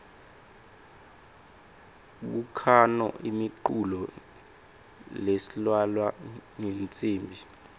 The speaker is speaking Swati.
kukhano imiculo leislalwa ngetnsimbi